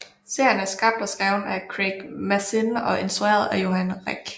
Serien er skabt og skrevet af Craig Mazin og instrueret af Johan Renck